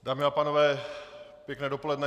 Dámy a pánové, pěkné dopoledne.